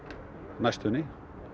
næstunni